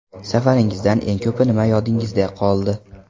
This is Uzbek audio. Safaringizdan eng ko‘pi nima yodingizda qoldi?